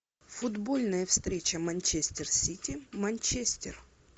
футбольная встреча манчестер сити манчестер